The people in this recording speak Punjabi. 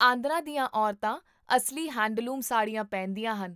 ਆਂਧਰਾ ਦੀਆਂ ਔਰਤਾਂ ਅਸਲੀ ਹੈਂਡਲੂਮ ਸਾੜੀਆਂ ਪਹਿਨਦੀਆਂ ਹਨ